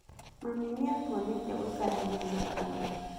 Mami nĩ atũonetie gũikarania na andũ.